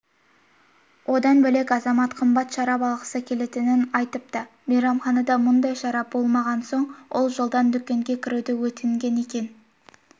одан бөлек азамат қымбат шарап алғысы келгенін айтыпты мейрамханада мұндай шарап болмаған болмаған соң ол жолдан дүкенге кіруді өтінген екен